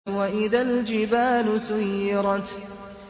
وَإِذَا الْجِبَالُ سُيِّرَتْ